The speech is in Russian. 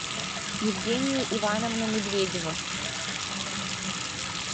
евгения ивановна медведева